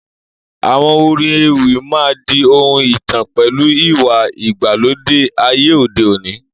Àwọn orin ewì máa di ohun ìtàn pẹ̀lú ìwà ìgbàlódé ayé òde òní